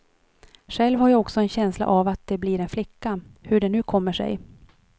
Själv har jag också en känsla av att det blir en flicka, hur det nu kommer sig.